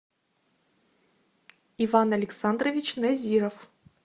иван александрович назиров